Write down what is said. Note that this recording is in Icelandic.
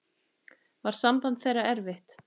Var samband þeirra erfitt.